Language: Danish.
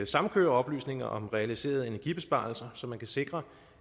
samkøre oplysninger om realiserede energibesparelser så man kan sikre